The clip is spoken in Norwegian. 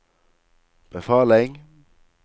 befaling